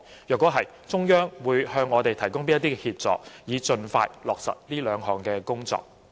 如是，中央會向我們提供甚麼協助，以盡快落實這兩項工作？